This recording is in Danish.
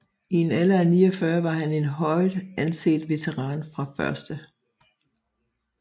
I en alder af 49 var han en højt anset veteran fra 1